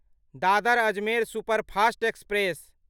Dadar Ajmer superfast express